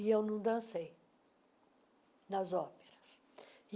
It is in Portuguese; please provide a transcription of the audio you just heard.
E eu não dancei nas óperas.